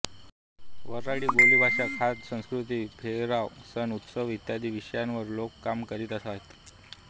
वऱ्हाडी बोलीभाषा खाद्य संस्कृती पेहराव सण उत्सव इत्यादी विषयावर लोक काम करीत आहेत